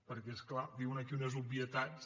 perquè és clar diuen aquí unes obvietats